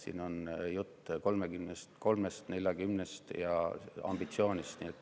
Siin on jutt 33%-st, 40%-st ja ambitsioonist.